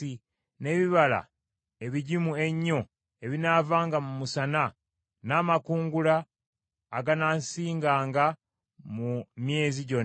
n’ebibala ebigimu ennyo ebinaavanga mu musana, n’amakungula aganaasinganga mu myezi gyonna;